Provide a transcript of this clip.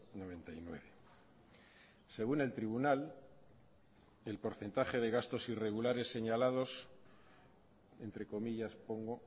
noventa y nueve según el tribunal el porcentaje de gastos irregulares señalados entre comillas pongo